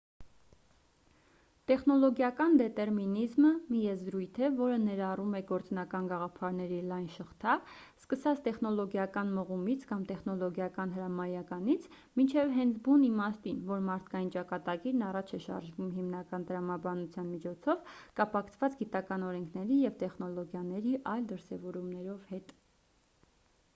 տեխնոլոգիական դետերմինիզմը մի եզրույթ է որը ներառում է գործնական գաղափարների լայն շղթա սկսած տեխնոլոգիական մղումից կամ տեխնոլոգիական հրամայականից մինչև հենց բուն իմաստին որ մարդկային ճակատագիրն առաջ է շարժվում հիմնական տրամաբանության միջոցով կապակցված գիտական օրենքների և տեխնոլոգիայի այլ դրսևորումներով հետ